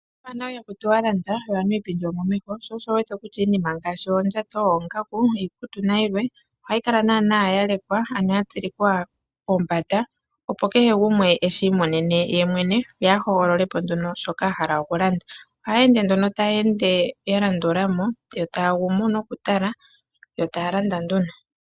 Ihaku tiwa landa, yo anuwa iipindi omomeho sho osho wu wete kutya iinima ngashi oondjato, oongaku, iikutu nayilwe ohayi kala nana yalekwa ano ya tsilikwa pombanda opo kehe gumwe eshi imonene yemwene ye aho gololepo nduno shoka ahala oku landa. Ohaya ende nduno taya ende ya landulamo yo taya gumu, noku tala yo, taya landa nduno.